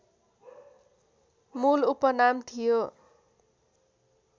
मूल उपनाम थियो